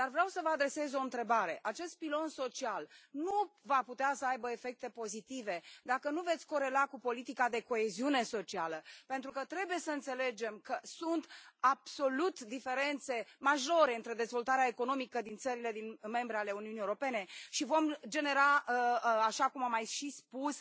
Dar vreau să vă adresez o întrebare acest pilon social nu va putea să aibă efecte pozitive dacă nu l veți corela cu politica de coeziune socială, pentru că trebuie să înțelegem că sunt absolut diferențe majore între dezvoltarea economică din țările membre ale Uniunii Europene și vor genera, așa cum am mai și spus,